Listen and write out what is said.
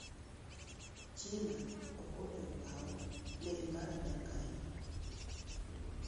China ok onego okaw meli mar Amerka e nam